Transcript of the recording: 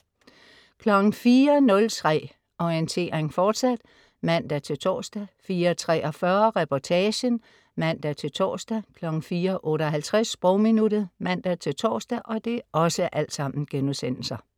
04.03 Orientering, fortsat* (man-tors) 04.43 Reportagen* (man-tors) 04.58 Sprogminuttet* (man-tors)